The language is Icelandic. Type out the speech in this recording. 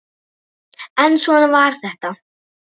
En svona var þetta.